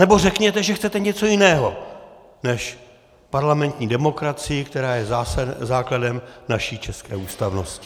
Nebo řekněte, že chcete něco jiného než parlamentní demokracii, která je základem naší české ústavnosti.